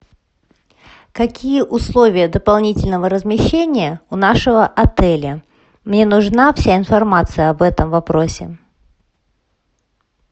какие условия дополнительного размещения у нашего отеля мне нужна вся информация об этом вопросе